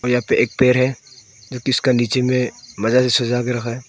यहां पे एक पेड़ है जो की इसका नीचे में मजा से सजा के रखा है।